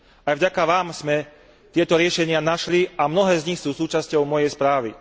Aj vďaka vám sme tieto riešenia našli a mnohé z nich sú súčasťou mojej správy.